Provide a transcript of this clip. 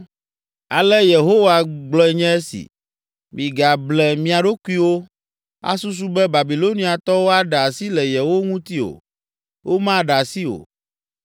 “Ale Yehowa gblɔe nye esi: Migable mia ɖokuiwo, asusu be, ‘Babiloniatɔwo aɖe asi le yewo ŋuti o.’ Womaɖe asi o!